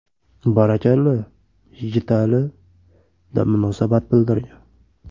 Barakalla, Yigitali”, deb munosabat bildirgan.